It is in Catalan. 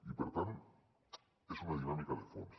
i per tant és una dinàmica de fons